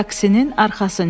Taksinin arxasınca.